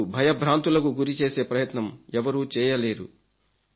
మీకు భయభ్రాంతులకు గురి చేసే ప్రయత్నం ఎవరూ చేయలేదు